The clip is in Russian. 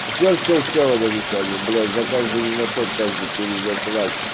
все-все-все удалите блять за каждую не наход за каждый перезаклад